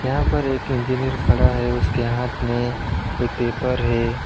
यहाँ पर एक इंजीनियर खड़ा है उसके हाथ में एक पेपर है।